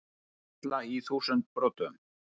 Þyrla í þúsund brotum